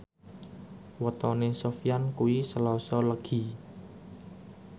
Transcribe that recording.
wetone Sofyan kuwi Selasa Legi